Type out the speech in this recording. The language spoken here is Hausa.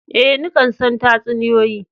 Eh, ni kan son tatsuniyoyi.